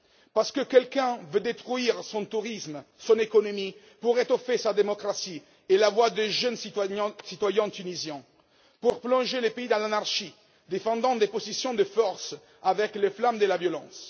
Parce que d'aucuns veulent détruire son tourisme et son économie, pour étouffer sa démocratie et la voix des jeunes citoyens tunisiens. Pour plonger le pays dans l'anarchie, en défendant des positions de force avec les flammes de la violence.